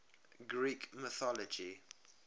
greek mythology